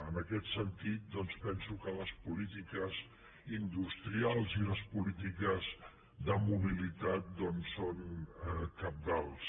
en aquest sentit doncs penso que les polítiques industrials i les polítiques de mobilitat són cabdals